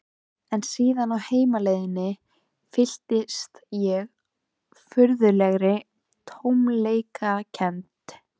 En síðan á heimleiðinni fylltist ég furðulegri tómleikakennd.